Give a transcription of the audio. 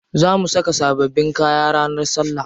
Za mu saka sababbin kaya ranar salla.